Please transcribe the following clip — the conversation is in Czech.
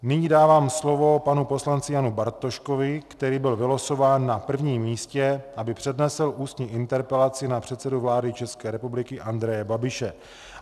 Nyní dávám slovo panu poslanci Janu Bartoškovi, který byl vylosován na prvním místě, aby přednesl ústní interpelaci na předsedu vlády České republiky Andreje Babiše.